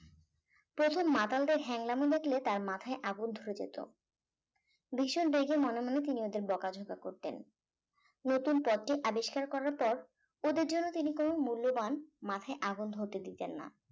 প্রথম মাতালদের হ্যাংলাম দেখলে তার মাথায় আগুন ধরে যেত ভীষণ রেগে মনে মনে তিনি ওদের বকাঝকা করতেন নতুন পথটি আবিষ্কার করার পর ওদের যেন তিনি কোন মূল্যবান মাথায় আগুন ধরতে দিতেন না